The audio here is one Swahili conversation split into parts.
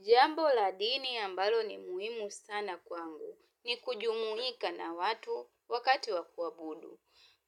Jambo la dini ambalo ni muhimu sana kwangu ni kujumuika na watu wakati wa kuabudu.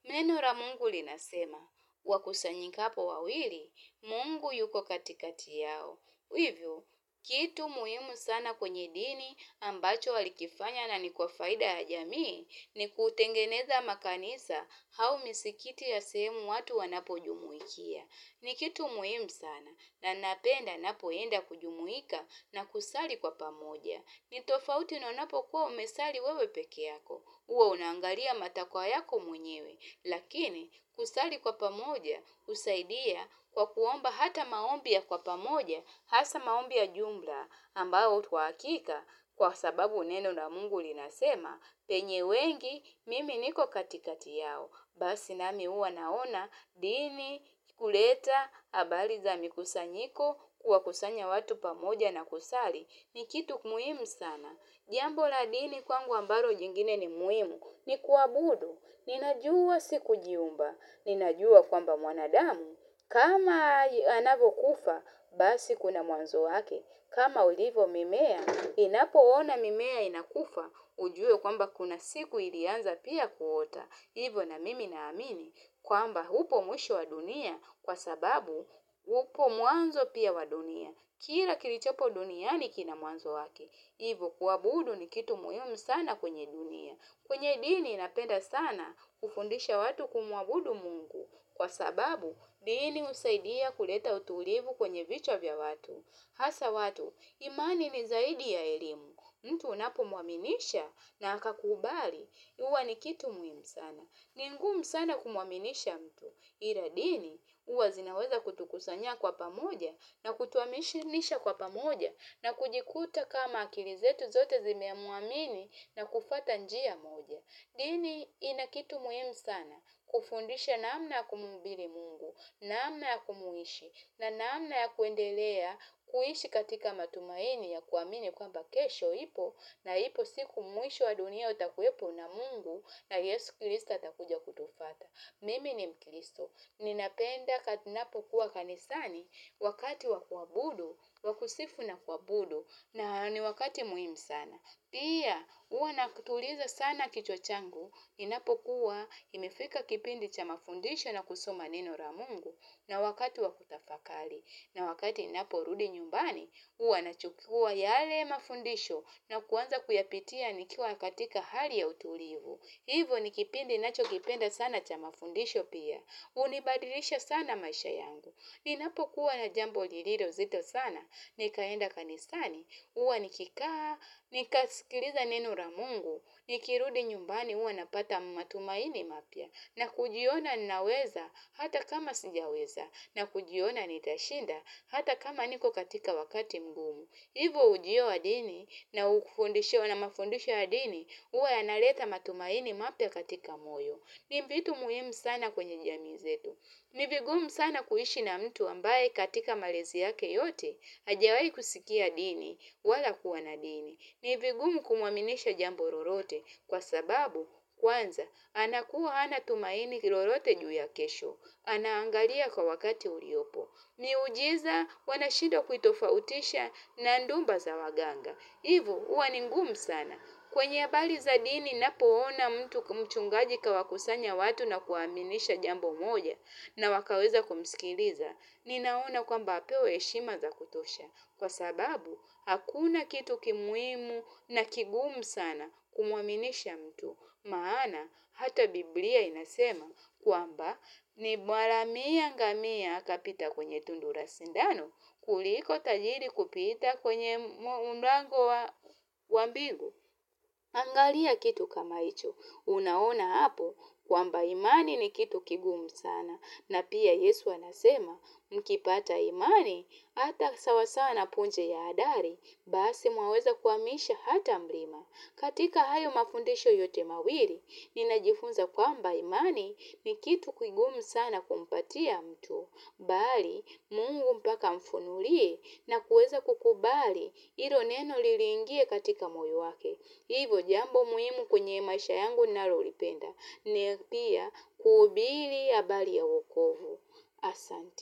Neno la Mungu linasema, wakusanyikapo wawili, Mungu yuko katikati yao. Hivyo, kitu muhimu sana kwenye dini ambacho walikifanya na ni kwa faida ya jamii ni kutengeneza makanisa au misikiti ya sehemu watu wanapojumuikia. Ni kitu muhimu sana na napenda ninapoenda kujumuika na kusali kwa pamoja. Ni tofauti na unapokuwa umesali wewe peke yako. Huwa unaangalia matakwa yako mwenyewe. Lakini kusali kwa pamoja husaidia kwa kuomba hata maombi ya kwa pamoja. Hasa maombi ya jumla ambayo hutoa hakika kwa sababu neno na Mungu linasema penye wengi mimi niko katikati yao. Basi nami huwa naona, dini, huleta, habari za mikusanyiko, kuwakusanya watu pamoja na kusali, ni kitu muhimu sana. Jambo la dini kwangu ambalo jingine ni muhimu, ni kuabudu, ninajua sikujiumba, ninajua kwamba mwanadamu. Kama anavyokufa, basi kuna mwanzo wake, kama ulivo mimea, ninapoona mimea inakufa, ujue kwamba kuna siku ilianza pia kuota. Hivo na mimi naamini kwamba upo mwisho wa dunia kwa sababu upo mwanzo pia wa dunia. Kila kilichopo dunia ni kina mwanzo wake. Ivo kuabudu ni kitu muhimu sana kwenye dunia. Kwenye dini napenda sana hufundisha watu kumuabudu Mungu. Kwa sababu dini husaidia kuleta utulivu kwenye vichwa vya watu. Hasa watu imani ni zaidi ya elimu. Mtu unapomuaminisha na akakubali. Huwa ni kitu muhimu sana. Ni ngumu sana kumuaminisha mtu. Ila dini huwa zinaweza kutukusanya kwa pamoja na kutuaminisha kwa pamoja na kujikuta kama akili zetu zote zimemuamini na kufuata njia moja. Dini ina kitu muhimu sana, kufundisha namna ya kumuhubiri Mungu, namna ya kumuishi, na naamna ya kuendelea kuishi katika matumaini ya kuamini kwamba kesho ipo, na ipo siku mwisho wa dunia utakuwepo na Mungu na Yesu Kristo atakuja kutufuata. Mimi ni mkristo, ninapenda ninapokuwa kanisani wakati wa kua budu, wa kusifu na kuabudu na ni wakati muhimu sana. Pia huwa nakituliza sana kichwa changu, inapokuwa imefika kipindi cha mafundisho na kusoma neno la Mungu na wakati wa kutafakari. Na wakati ninaporudi nyumbani, huwa nachukua yale mafundisho na kuanza kuyapitia nikiwa katika hali ya utulivu. Hivo ni kipindi ninachokipenda sana cha mafundisho pia. Hunibadilisha sana maisha yangu. Ninapokuwa na jambo lililo zito sana, nikaenda kanisani, huwa nikikaa, nikaskiliza neno la Mungu, nikirudi nyumbani huwa napata matumaini mapya. Na kujiona ninaweza hata kama sijaweza na kujiona nitashinda hata kama niko katika wakati mgumu. Hivo ujio wa dini na ufundisho na mafundisho wa dini huwa yanaleta matumaini mapya katika moyo. Ni vitu muhimu sana kwenye jamii zetu. Ni vigumu sana kuishi na mtu ambaye katika malezi yake yote. Hajawai kusikia dini wala kuwa na dini. Ni vigumu kumuaminisha jambo lolote kwa sababu kwanza anakuwa hana tumaini lolote juu ya kesho. Anaangalia kwa wakati uliopo. Miujiza wanashindwa kuitofautisha na ndumba za waganga. Hivo huwa ni ngumu sana. Kwenye habari za dini ninapoona mtu mchungaji kawakusanya watu na kuaminisha jambu moja na wakaweza kumskiliza. Ninaona kwamba apewe heshima za kutosha kwa sababu, hakuna kitu ki muhimu na kigumu sana kumuaminisha mtu. Maana, hata Biblia inasema kwamba ni mharamia ngamia kapita kwenye tundu la sindano kuliko tajiri kupita kwenye mlango wa mbingu. Angalia kitu kama hicho. Unaona hapo kwamba imani ni kitu kigumu sana. Na pia Yesu anasema, mkipata imani, hata sawasawa na punje ya adari, basi mwaweza kuhamisha hata mlima. Katika hayo mafundisho yote mawili ninajifunza kwamba imani ni kitu kigumu sana kumpatia mtu. Bali, Mungu mpaka amfunulie na kueza kukubali hilo neno lilingie katika moyo wake. Hivo jambo muhimu kwenye maisha yangu ninalolipenda. Ni pia kuhubiri ya habari ya wokovu. Asante.